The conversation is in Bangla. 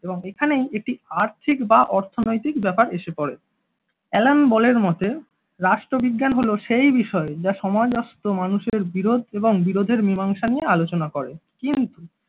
এবং এখানেই একটি আর্থিক বা অর্থনৈতিক ব্যাপার এসে পড়ে অ্যালেনবলের মতে রাষ্ট্রবিজ্ঞান হল সেই বিষয় যা সমাজস্ত মানুষের বিরোধ এবং বিরোধের মীমাংসা নিয়ে আলোচনা করে। কিন্তু